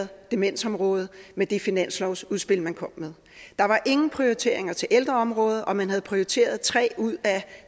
demensområdet med det finanslovsudspil man kom med der var ingen prioritering af ældreområdet og man havde prioriteret tre ud af